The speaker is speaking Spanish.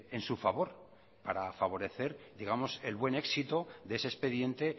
en su favor para favorecer el buen éxito de ese expediente